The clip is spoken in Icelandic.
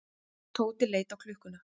Tóti leit á klukkuna.